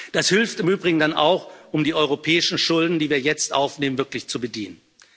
Das hilft im Übrigen dann auch, um die europäischen Schulden, die wir jetzt aufnehmen, wirklich zu bedienen.